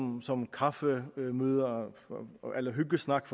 ud som kaffemøder eller hyggesnak